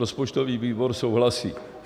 Rozpočtový výbor souhlasí.